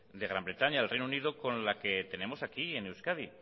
de gran bretaña y del reino unido con la que tenemos aquí en euskadi